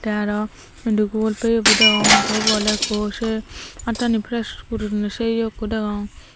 te aro Sundugu iyo bu degong the ubo ole ekku se attani fresh guriney se yea ekku degong.